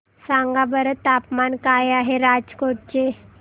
सांगा बरं तापमान काय आहे राजकोट चे